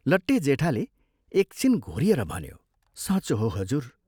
लट्टे जेठाले एक छिन घोरिएर भन्यो, "साँचो हो, हजुर!